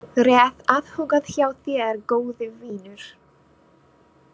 Rétt athugað hjá þér góði vinur.